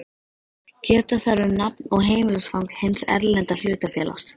Geta þarf um nafn og heimilisfang hins erlenda hlutafélags.